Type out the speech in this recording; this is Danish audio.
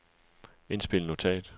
indspil notat